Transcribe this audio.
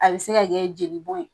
A be se ka kɛ jeli bɔn ye.